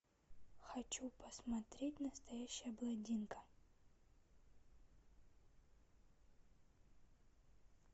хочу посмотреть настоящая блондинка